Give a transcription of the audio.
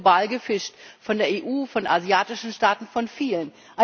Es wird global gefischt, von der EU, von asiatischen Staaten, von vielen.